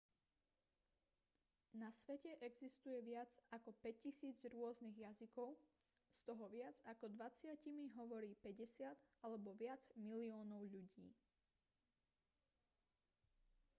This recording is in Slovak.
na svete existuje viac ako 5 000 rôznych jazykov z toho viac ako dvadsatimi hovorí 50 alebo viac miliónov ľudí